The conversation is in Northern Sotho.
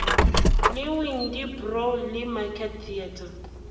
le windybrow le market theatre